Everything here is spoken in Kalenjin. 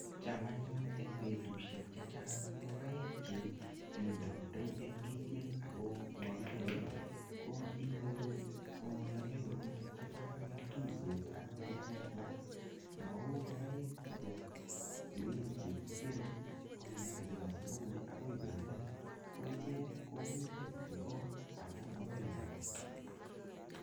cham anyun eng betushiek chechang ngokaik che bendati amagiker inyoru namei korotwek chechang mau ngokaik che bo grate che kigere icheket akoi koimen ko mitei kityo kot amamii ole kaba